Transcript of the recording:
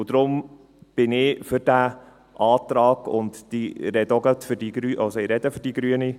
Deswegen bin ich für diesen Antrag, und ich spreche auch gerade für die Grünen: